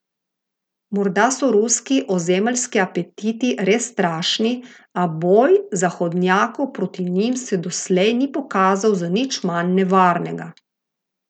Morda so ruski ozemeljski apetiti res strašni, a boj Zahodnjakov proti njim se doslej ni pokazal za nič manj nevarnega.